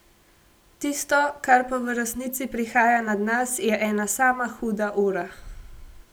Tisto, kar pa v resnici prihaja nad nas, je ena sama huda ura.